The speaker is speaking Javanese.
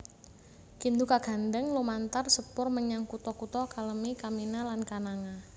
Kindu kagandhèng lumantar sepur menyang kutha kutha Kalemie Kamina lan Kananga